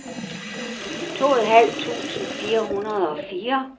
tooghalvtreds tusind fire hundrede og fire